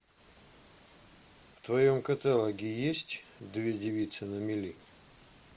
в твоем каталоге есть две девицы на мели